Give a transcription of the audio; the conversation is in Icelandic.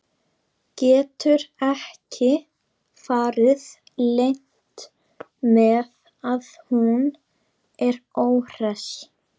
Getur ekki farið leynt með að hún er óhress.